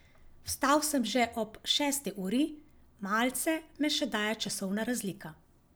Vstal sem že ob šesti uri, malce me še daje časovna razlika.